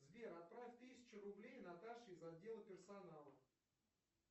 сбер отправь тысячу рублей наташе из отдела персонала